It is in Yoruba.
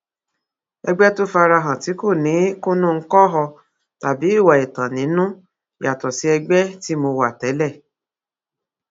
ẹgbẹ tó fara hàn tí kò ní kùnnùńkọwò tàbí ìwà ẹtàn nínú yàtọ sí ẹgbẹ tí mo wà tẹlẹ